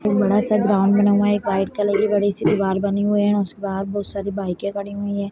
एक बड़ा सा ग्राउंड बना हुआ है एक वाइट कलर की बड़ी सी दीवार बनी हुई है उसके बाहर बहुत सारी बाइके खड़ी हुई हैं।